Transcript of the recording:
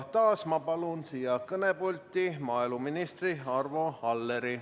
Taas palun siia kõnepulti maaeluminister Arvo Alleri.